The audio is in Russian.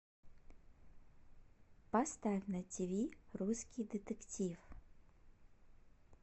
поставь на тиви русский детектив